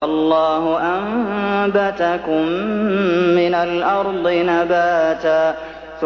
وَاللَّهُ أَنبَتَكُم مِّنَ الْأَرْضِ نَبَاتًا